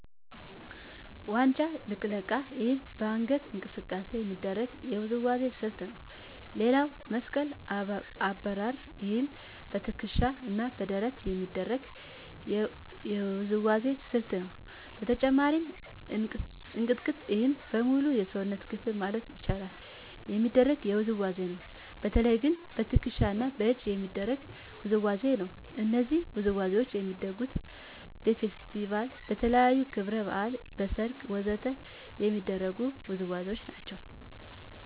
ዋንጫ ልቅለቃ ይህም በአንገት እንቅስቃሴ የሚደረግ የውዝዋዜ ስልት ነው ሌላው መስቀል አብርር ይህም በትከሻ እና በደረት የሚደረግ የውዝዋዜ ስልት ነው በተጨማሪም እንቅጥቅጥ ይህም በሙሉ የሰውነት ክፍል ማለት ይቻላል የሚደረግ ውዝዋዜ ነው በተለየ ግን በትክሻ እና በእጅ የሚደረግ ውዝዋዜ ነው እነዚህ ውዝዋዜዎች የሚደረጉት በፌስቲቫል, በተለያዩ ክብረ በዓላት, በሰርግ ወ.ዘ.ተ የሚደረጉ ውዝዋዜዎች ናቸው